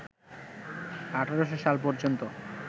১৮০০ সাল পর্যন্ত